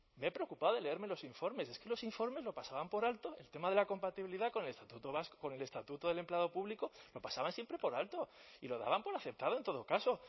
me he preocupado de leerme los informes es que los informes lo pasaban por alto el tema de la compatibilidad con el estatuto del empleado público lo pasaban siempre por alto y lo daban por aceptado en todo caso